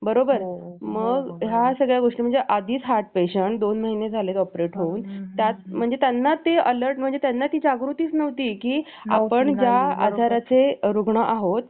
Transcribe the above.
उगाच आपल्याल्या वाटतंय म्हणून त्या मुलांनवर थे थोपवन हे योग्य नव्हे त्यामुळे burden खाली ऐवून तो आपल्या मनासारख घेऊ शकेल पण चांगल्या job ला लागेलच